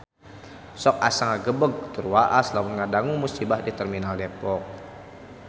Sok asa ngagebeg tur waas lamun ngadangu musibah di Terminal Depok